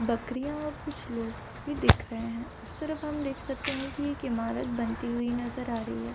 बकरियाँ और कुछ लोग भी दिख रहें हैं। उस तरफ हम देख सकते हैं की एक ईमारत बनती हुई नजर आ रही है।